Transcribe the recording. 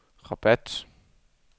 Rabat